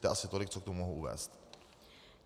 To je asi tolik, co k tomu mohu uvést.